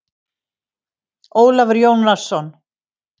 Ólafur Jónsson.